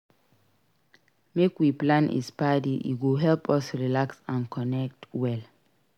Make we plan a spa day; e go help us relax and connect well.